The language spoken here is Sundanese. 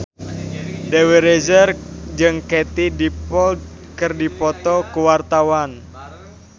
Dewi Rezer jeung Katie Dippold keur dipoto ku wartawan